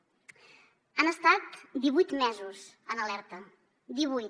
han estat divuit mesos en alerta divuit